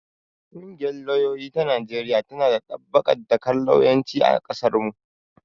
Ƙungiyar lauyoyi ta Najeriya tana ɗabbaƙa dakar lauyanci a ƙasarmu.